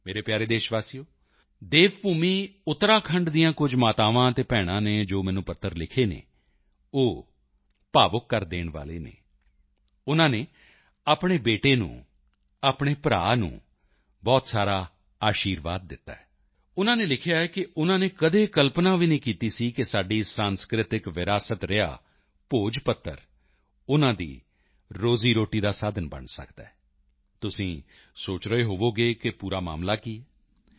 ਮੇਰੇ ਪਿਆਰੇ ਦੇਸ਼ਵਾਸੀਓ ਦੇਵ ਭੂਮੀ ਉੱਤਰਾਖੰਡ ਦੀਆਂ ਕੁਝ ਮਾਤਾਵਾਂ ਅਤੇ ਭੈਣਾਂ ਨੇ ਜੋ ਮੈਨੂੰ ਪੱਤਰ ਲਿਖੇ ਹਨ ਉਹ ਭਾਵੁਕ ਕਰ ਦੇਣ ਵਾਲੇ ਹਨ ਉਨ੍ਹਾਂ ਨੇ ਆਪਣੇ ਬੇਟੇ ਨੂੰ ਆਪਣੇ ਭਰਾ ਨੂੰ ਬਹੁਤ ਸਾਰਾ ਅਸ਼ੀਰਵਾਦ ਦਿੱਤਾ ਹੈ ਉਨ੍ਹਾਂ ਨੇ ਲਿਖਿਆ ਹੈ ਕਿ ਉਨ੍ਹਾਂ ਨੇ ਕਦੇ ਕਲਪਨਾ ਵੀ ਨਹੀਂ ਸੀ ਕੀਤੀ ਕਿ ਸਾਡੀ ਸਾਂਸਕ੍ਰਿਤਕ ਵਿਰਾਸਤ ਰਿਹਾ ਭੋਜਪੱਤਰ ਉਨ੍ਹਾਂ ਦੀ ਰੋਜ਼ੀਰੋਟੀ ਦਾ ਸਾਧਨ ਬਣ ਸਕਦਾ ਹੈ ਤੁਸੀਂ ਸੋਚ ਰਹੇ ਹੋਵੋਗੇ ਕਿ ਉਹ ਪੂਰਾ ਮਾਮਲਾ ਕੀ ਹੈ